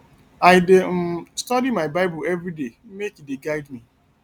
i dey um study my bible everyday make e dey guide me